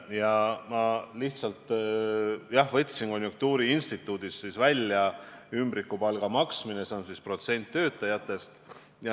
Ja ma lihtsalt võtsin konjunktuuriinstituudi andmed välja: ümbrikupalga maksmine, see on siis protsent töötajatest.